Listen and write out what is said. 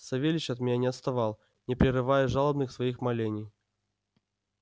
савельич от меня не отставал не прерывая жалобных своих молений